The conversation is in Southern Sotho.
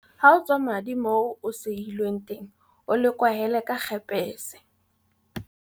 Ha o tswa madi moo o sehilweng teng o le kwahele ka kgepese.